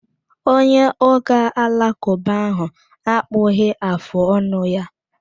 Onye ụka alakụba ahụ akpụghị afụ ọnụ ya